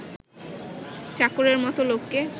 চাকরের মতে লোককে